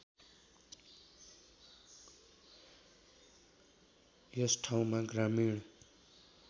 यस ठाउँमा ग्रामिण